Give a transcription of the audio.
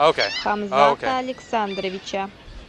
хамзата александровича